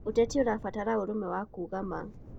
Ũteti ũrabatara ũrũme na kuuga ma.